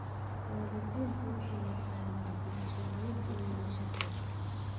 Waalidiintu waxay yaqaaniin mas'uuliyadooda sharci.